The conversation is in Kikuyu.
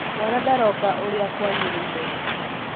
mwana ndaronga ũrĩa kwagĩrĩire